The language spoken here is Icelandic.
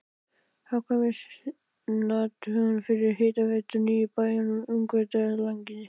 Hagkvæmniathuganir fyrir hitaveitur í níu bæjum í Ungverjalandi.